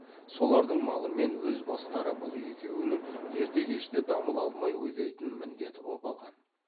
солардың малы мен өз бастары бұл екеуінің ерте кеште дамыл алмай ойлайтын міндеті боп алған